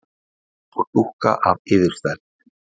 Eins og dúkka af yfirstærð.